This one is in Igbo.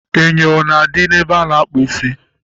Enyo na-adị ebe a na-akpụ isi